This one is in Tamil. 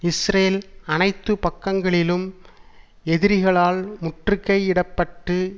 இஸ்ரேல் அனைத்து பக்கங்களிலும் எதிரிகளால் முற்றுகையிடப்பட்டு